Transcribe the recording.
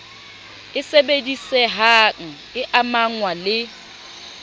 e sebedisehang e amahngwa le